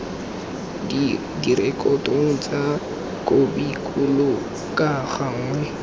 direkotong tsa khopikgolo ka gangwe